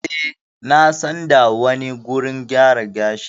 Eh na san da wani wurin gyara gashi.